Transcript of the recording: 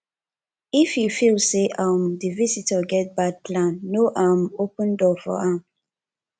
if you feel sey um di visitor get bad plan no um open door for am